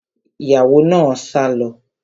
Ìyàwó náà sá lọ